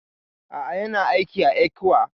A'a, Yana aiki a ECWA